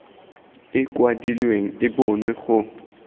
e kwadilweng e bonwe go